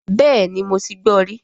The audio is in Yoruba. Bẹ́ẹ̀ni mo ti gbọ rí